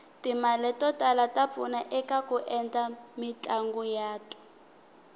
timale totala tapfuna ekaku endla mitlanguyatu